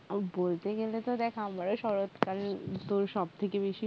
বলতে গেলে তো দেখ আমার ও শরৎকাল তো সব থেকে বেশি